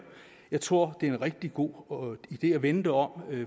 jeg tror det er en rigtig god idé at vende det om